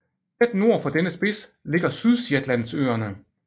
Tæt nord for dennes spids ligger Sydshetlandsøerne